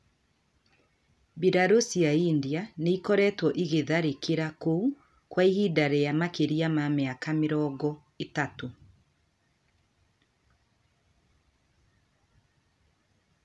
Mbirarū cia India nĩ ĩkoretwo ĩgĩtharĩkĩra kũu kwa ihinda rĩa makĩria ma mĩaka mĩrongo ĩtatũ.